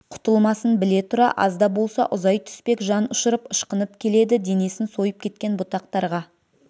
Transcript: құтылмасын біле тұра аз да болса ұзай түспек жан ұшырып ышқынып келеді денесін сойып кеткен бұтақтарға